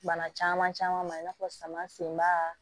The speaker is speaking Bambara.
Bana caman caman ma i n'a fɔ saman sen ba